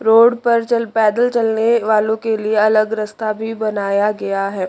Road पर चल पैदल चलने वालों के लिए अलग रस्ता भी बनाया गया है।